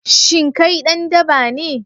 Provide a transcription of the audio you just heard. Shin kai dan daba ne?